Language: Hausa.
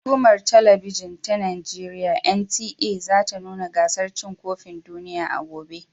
Hukumar Talabijin ta Najeriya (NTA) za ta nuna gasar cin kofin duniya a gobe.